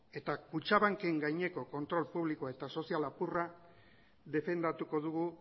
eta kutxabanken gaineko kontrol publikoa eta sozial apurra defendatuko dugu